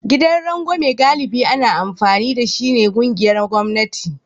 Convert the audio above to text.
Gidan rangwame galibi ana amfani da shi ta ƙungiyar gwamnati